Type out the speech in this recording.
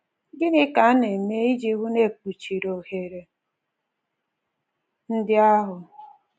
Gịnị ka a na-eme iji hụ na e kpuchiri ohere ndị ahụ?